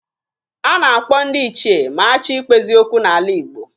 A na-akpọ ndị ichie ma a chọọ ikpezi okwu n'ala Igbo